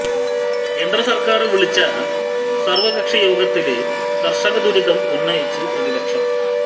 കേന്ദ്ര സര്ക്കാര് വിളിച്ച സര്വകക്ഷി യോഗത്തില് കര്ഷകദുരിതം ഉന്നയിച്ച് പ്രതിപക്ഷം